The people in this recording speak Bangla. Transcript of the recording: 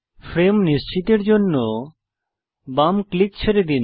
ফ্রেম নিশ্চিতের জন্য বাম ক্লিক ছেড়ে দিন